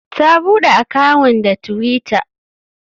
Ta buɗe akawun da twitter.